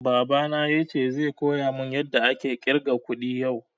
Baba na yace zai koya mun yada ake ƙirga kuɗi yau